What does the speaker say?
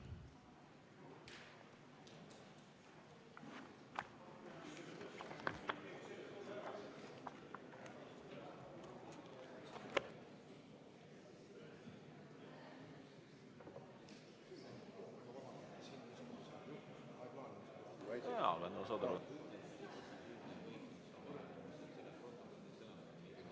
V a h e a e g